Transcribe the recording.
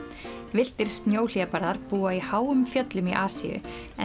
villtir búa í háum fjöllum í Asíu en